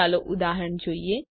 ચાલો ઉદાહરણ જોઈએ